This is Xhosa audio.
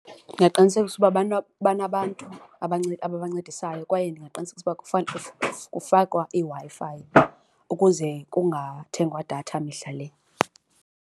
Ndingaqinisekisa uba banabantu ababancedisayo kwaye ndingaqinisekisa ukuba kufakwa iWi-Fi ukuze kungathengwa datha mihla le.